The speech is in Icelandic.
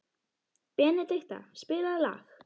Benedikta, spilaðu lag.